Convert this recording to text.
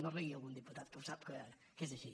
no rigui algun diputat que ho sap que és així